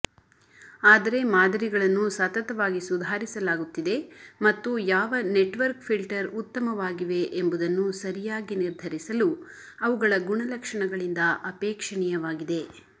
ಆದರೆ ಮಾದರಿಗಳನ್ನು ಸತತವಾಗಿ ಸುಧಾರಿಸಲಾಗುತ್ತಿದೆ ಮತ್ತು ಯಾವ ನೆಟ್ವರ್ಕ್ ಫಿಲ್ಟರ್ ಉತ್ತಮವಾಗಿವೆ ಎಂಬುದನ್ನು ಸರಿಯಾಗಿ ನಿರ್ಧರಿಸಲು ಅವುಗಳ ಗುಣಲಕ್ಷಣಗಳಿಂದ ಅಪೇಕ್ಷಣೀಯವಾಗಿದೆ